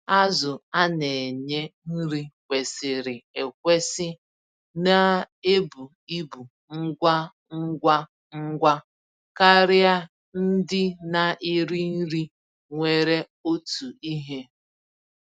Azụ a-nenye nri kwesịrị ekwesị na-ebu ibu ngwa ngwa ngwa karịa ndị na-eri nri nwere otu ihe.